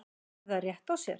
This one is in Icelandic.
Áttu þær rétt á sér?